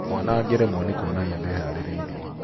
Mwana angĩremwo nĩ kũonania ndeharĩrĩirie.